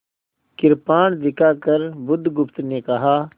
कृपाण दिखाकर बुधगुप्त ने कहा